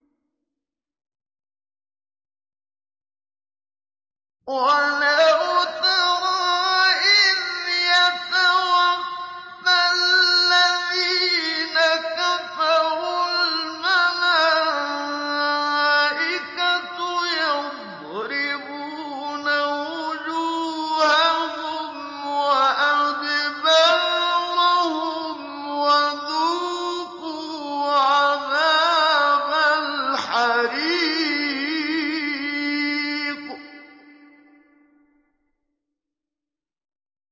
وَلَوْ تَرَىٰ إِذْ يَتَوَفَّى الَّذِينَ كَفَرُوا ۙ الْمَلَائِكَةُ يَضْرِبُونَ وُجُوهَهُمْ وَأَدْبَارَهُمْ وَذُوقُوا عَذَابَ الْحَرِيقِ